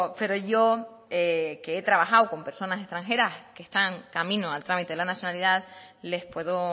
pero yo que he trabajado con personas extranjeras que están camino al trámite de la nacionalidad les puedo